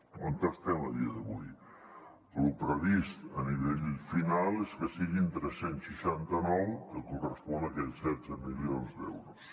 on estem a dia d’avui lo previst a nivell final és que siguin tres cents i seixanta nou que correspon a aquells setze milions d’euros